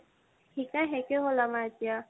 শিকা শেষে হ'ল আমাৰ এতিয়া।